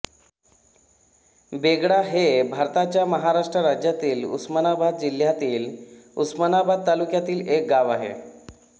बेगडा हे भारताच्या महाराष्ट्र राज्यातील उस्मानाबाद जिल्ह्यातील उस्मानाबाद तालुक्यातील एक गाव आहे